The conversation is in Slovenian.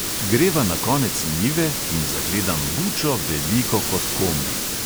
Greva na konec njive in zagledam bučo, veliko kot kombi.